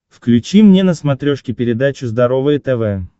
включи мне на смотрешке передачу здоровое тв